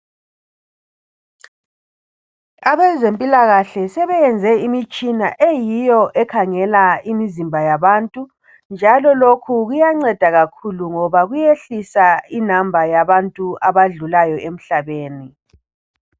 Abezempilakahle sebeyenze imitshina eyiyo ekhangela imizimba yabantu, njalo lokho kuyanceda kakhulu ngoba kuyehlisa inamba yabantu abadlulayo emhlabeni.